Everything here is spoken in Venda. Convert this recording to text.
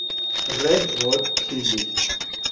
red hot chili